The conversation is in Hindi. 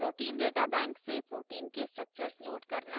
* protein data bank pdb से protein के structures load करना